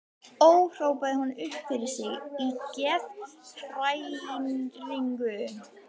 Ó, hrópaði hún upp yfir sig í geðshræringu.